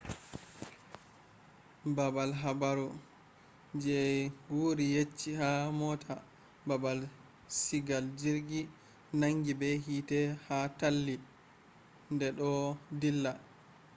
baabal habaru je wuri yecci ha mota baabal sigal jirgi nangi be hiite ha talli de do dilla